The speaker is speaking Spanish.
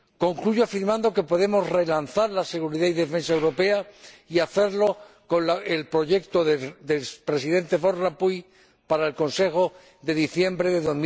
Concluyo afirmando que podemos relanzar la seguridad y defensa europeas y hacerlo con el proyecto del Presidente Van Rompuy para el Consejo de diciembre de